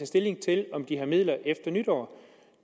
stilling til om de har midler efter nytår